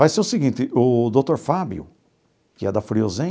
Vai ser o seguinte, o doutor Fábio, que é da Friozem,